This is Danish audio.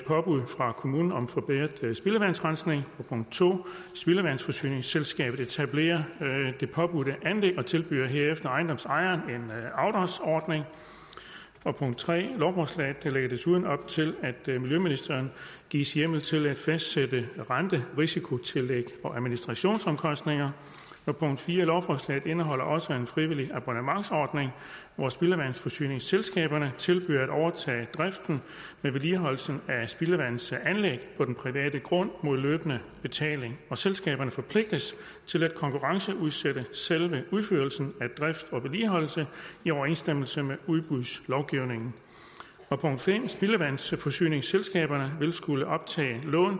påbud fra kommunen om forbedret spildevandsrensning punkt to spildevandsforsyningsselskabet etablerer det påbudte anlæg og tilbyder herefter ejendomsejeren en afdragsordning punkt tre lovforslaget lægger desuden op til at miljøministeren gives hjemmel til at fastsætte renterisikotillæg og administrationsomkostninger punkt fire lovforslaget indeholder også en frivillig abonnementsordning hvor spildevandsforsyningsselskaberne tilbyder at overtage driften med vedligeholdelsen af spildevandsanlæg på den private grund mod løbende betaling og selskaberne forpligtes til at konkurrenceudsætte selve udførelsen af drift og vedligeholdelse i overensstemmelse med udbudslovgivningen punkt fem spildevandsforsyningsselskaberne vil skulle optage lån